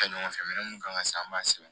Kɛ ɲɔgɔn fɛ minɛn mun kan ŋa san an b'a sɛbɛn